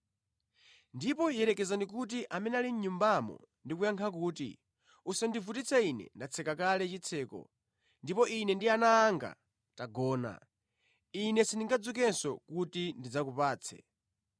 “Ndipo yerekezani kuti amene ali mʼnyumbamo ndi kuyankha kuti, ‘Usandivutitse ine, ndatseka kale chitseko, ndipo ine ndi ana anga tagona. Ine sindingadzukenso kuti ndidzakupatse.’